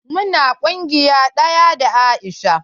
Mu na ƙungiya ɗaya da Aisha.